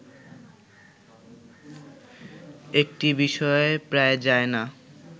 একটি বিষয়ে প্রায় যায় না